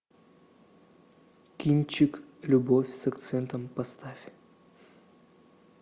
кинчик любовь с акцентом поставь